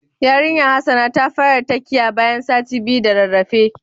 Yarinyan Hassana ta fara takiya bayan sati biyu da rarrafe.